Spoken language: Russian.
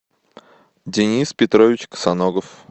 денис петрович косоногов